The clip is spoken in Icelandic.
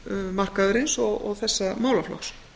vinnumarkaðarins og þessa málaflokks